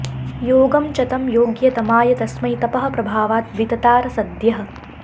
योगं च तं योग्यतमाय तस्मै तपःप्रभावाद् विततार सद्यः